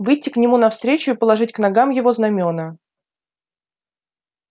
выйти к нему навстречу и положить к ногам его знамёна